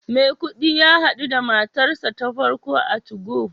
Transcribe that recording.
Maikudi ya hadu da matarsa ​​ta farko a 2go